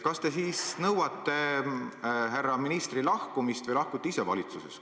Kas te siis nõuate härra ministri lahkumist või lahkute ise valitsusest?